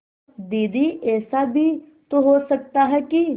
दीदी ऐसा भी तो हो सकता है कि